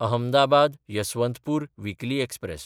अहमदाबाद–यसवंतपूर weekly express